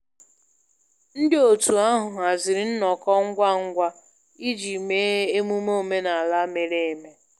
Ndị otu ahụ haziri nnọkọ ngwa ngwa iji mee emume omenala mere eme